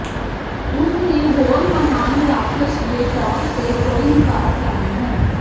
ਉਸ ਨੇ ਹੋਰ ਮਹਾਨ ਰਾਖਸ਼ ਦੇ ਤੌਰ ਤੇ ਕੋਈ ਵਿਕਾਸ ਲਾਈਨ ਹੈ